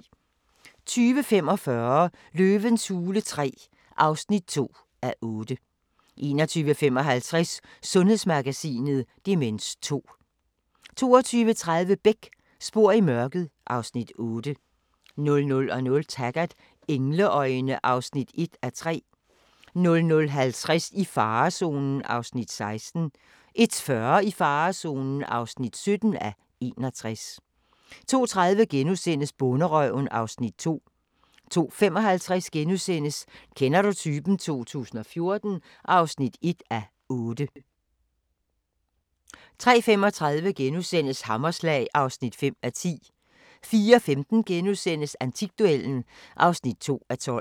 20:45: Løvens hule III (2:8) 21:55: Sundhedsmagasinet: Demens 2 22:30: Beck: Spor i mørket (Afs. 8) 00:00: Taggart: Engleøjne (1:3) 00:50: I farezonen (16:61) 01:40: I farezonen (17:61) 02:30: Bonderøven (Afs. 2)* 02:55: Kender du typen? 2014 (1:8)* 03:35: Hammerslag (5:10)* 04:15: Antikduellen (2:12)*